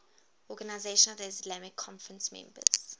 organisation of the islamic conference members